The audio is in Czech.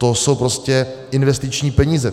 To jsou prostě investiční peníze.